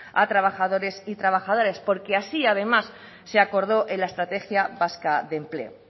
a trabajadores y trabajadoras porque así además se acordó en la estrategia vasca de empleo